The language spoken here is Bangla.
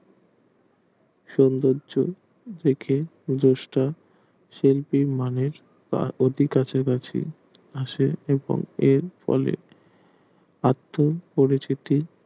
সৌন্দর্য দেখে জেস্ট শিল্পীর মনে অতি কাছে কাছি আসে এবং এর ফলে আত্ম পরিচিতি